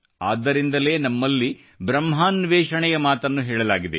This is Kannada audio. ಆದ್ದರಿಂದಲೇ ನಮ್ಮಲ್ಲಿ ಬ್ರಹ್ಮಾನ್ವೇಷಣೆಯ ಮಾತನ್ನು ಹೇಳಲಾಗಿದೆ